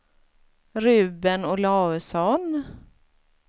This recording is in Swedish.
Ruben Olausson